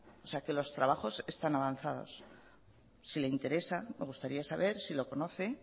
o sea los trabajos están avanzados si le interesa me gustaría saber si lo conoce